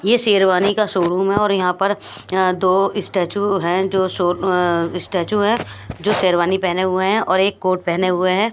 ये सेरवानी का शोरूम है और यहां पर अं दो स्टैच्यू है जो अं स्टैच्यू है जो सेरवानी पहने हुए है और एक कोट पहने हुए है।